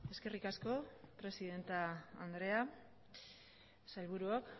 eskerrik asko presidente andrea sailburuok